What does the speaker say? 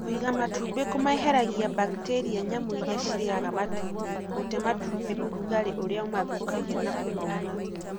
Kũiga matumbi kũmeheragĩria baktĩria, nyamũ iria cirĩaga matumbĩ ,gũte matumbĩ ,ũrugarĩ ũrĩa ũmathũkagia na kũmauna.